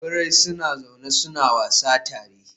Birai suna zaune suna wasa tare.